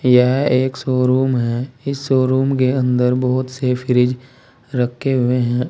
यह एक शोरूम है इस शोरूम के अंदर बहुत से फ्रिज रखे हुए हैं।